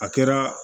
A kɛra